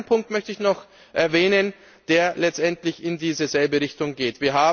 Einen zweiten Punkt möchte ich noch erwähnen, der letztendlich in dieselbe Richtung geht.